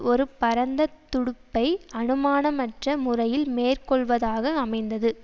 ஒரு பரந்த துடைப்பை அனுமானமற்ற முறையில் மேற்கொள்வதாக அமைந்தது